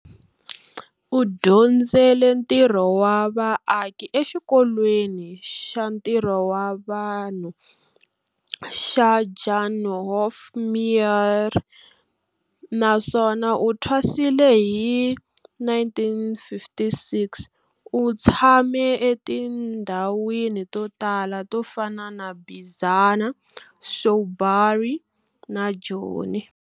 U dyondzele ntirho wa vaaki eXikolweni xa Ntirho wa Vanhu xa Jan Hofmeyr naswona u thwasile hi 1956. U tshame etindhawini to tala to fana na Bizana, Shawbury na Joni.